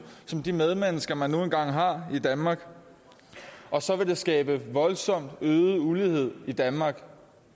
som de medmennesker man nu engang har i danmark og så vil det skabe en voldsomt øget ulighed i danmark